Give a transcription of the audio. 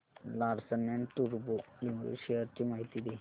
Larsen and टुर्बो limited shares ची माहिती दे